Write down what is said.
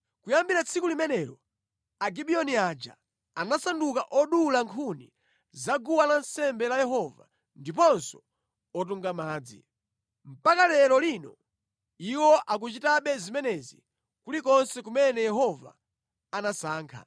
Kuyambira tsiku limenelo Agibiyoni aja anasanduka odula nkhuni zaguwa lansembe la Yehova ndiponso otunga madzi. Mpaka lero lino iwo akuchitabe zimenezi kulikonse kumene Yehova anasankha.